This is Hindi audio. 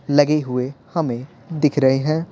लगे हुए हमें दिख रहे हैं।